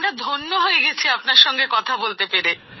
আমরা ধন্য হয়ে গেছি আপনার সঙ্গে কথা বলতে পেরে